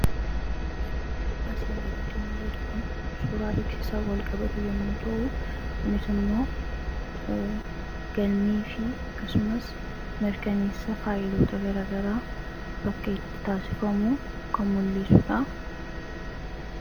Sururri asiin gaditti mul'atu kun, suuraa beeksisaan walqabatu yommuu ta'uu, kunis immoo galmee fi mirkaneessa faayiloota garaa garaa bakka itti taasifamuu kan mul'isuudha.